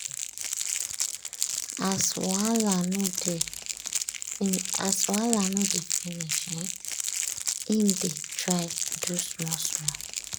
as wahala no dey finish um im dey try do small-small.